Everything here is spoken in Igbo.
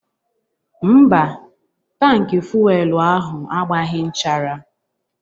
Mba, tankị fuelu ahu agbaghị nchara.